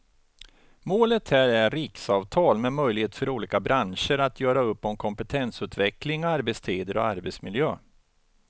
Målet här är riksavtal med möjlighet för olika branscher att göra upp om kompetensutveckling, arbetstider och arbetsmiljö.